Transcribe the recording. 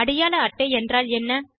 அடையாள அட்டை என்றால் என்ன